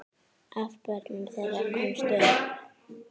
Af börnum þeirra komust upp